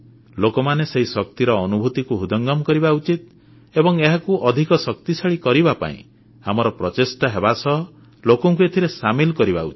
ଲୋକମାନେ ସେହି ଶକ୍ତିର ଅନୁଭୂତିକୁ ହୃଦୟଙ୍ଗମ କରିବା ଉଚିତ ଏବଂ ଏହାକୁ ଅଧିକ ଶକ୍ତିଶାଳୀ କରିବା ପାଇଁ ଆମର ପ୍ରଚେଷ୍ଟା ହେବା ସହ ଲୋକଙ୍କୁ ଏଥିରେ ସାମିଲ କରିବା ଉଚିତ